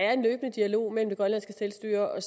er en løbende dialog mellem det grønlandske selvstyre og